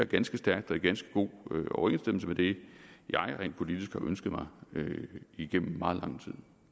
ganske stærkt og i ganske god overensstemmelse med det jeg rent politisk har ønsket mig igennem meget lang